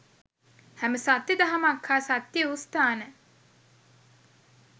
හැම සත්‍ය දහමක් හා සත්‍ය වූ ස්ථාන